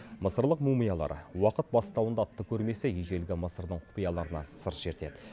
мысырлық мумиялар уақыт бастауында атты көрмесі ежелгі мысырдың құпияларынан сыр шертеді